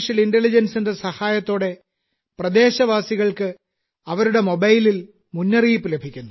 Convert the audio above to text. I യുടെ സഹായത്തോടെ പ്രദേശവാസികൾക്ക് അവരുടെ മൊബൈലിൽ ഒരു മുന്നറിയിപ്പ് ലഭിക്കുന്നു